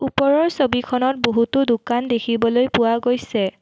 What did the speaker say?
ওপৰৰ ছবিখনত বহুতো দোকান দেখিবলৈ পোৱা গৈছে।